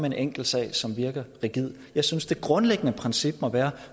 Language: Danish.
en enkelt sag som virker rigid jeg synes det grundlæggende princip må være